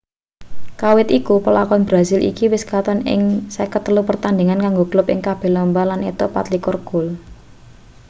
kawit iku pelakon brasil iki wis katon ing 53 pertandhingan kanggo klub ing kabeh lomba lan entuk 24 gol